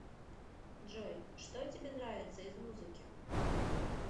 джой что тебе нравится из музыки